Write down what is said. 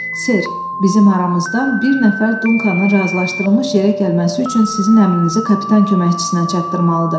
Ser, bizim aramızdan bir nəfər Dunkanın razılaşdırılmış yerə gəlməsi üçün sizin əmrinizi kapitan köməkçisinə çatdırmalıdır.